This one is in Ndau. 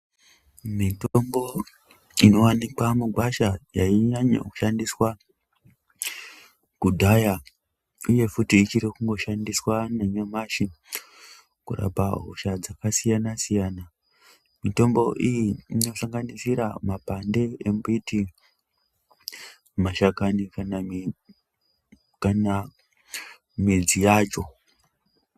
Mitombo inowanikwe mugwasha yainyanye kushandiswa kudhaya uye futi ichiri kungoshandiswa nanyamashi kurapa hosha dzakasiyanasiyana mitombo iyi inosanganisira mapande embiti, mashakani kana midzi yacho.